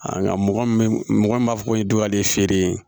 Nka mɔgɔ min mɔgɔ min b'a fɔ ko nin dɔgɔlen feere